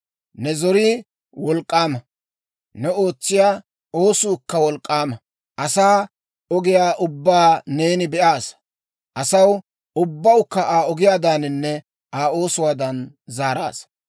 Ne zorii wolk'k'aama; ne ootsiyaa oosuukka wolk'k'aama. Asaa ogiyaa ubbaa neeni be'aasa; asaw ubbawukka Aa ogiyaadaaninne Aa oosuwaadan zaaraasa.